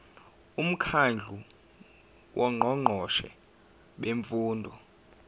umkhandlu wongqongqoshe bemfundo